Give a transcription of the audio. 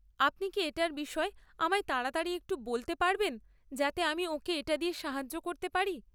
আপনি কি এটার বিষয়ে আমায় তাড়াতাড়ি একটু বলতে পারবেন যাতে আমি ওঁকে এটা দিয়ে সাহায্য করতে পারি?